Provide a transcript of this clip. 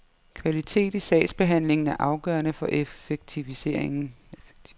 Kvalitet i sagsbehandlingen er afgørende for effektivisering.